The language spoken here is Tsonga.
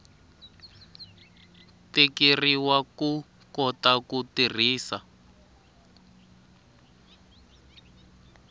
tikeriwa ku kota ku tirhisa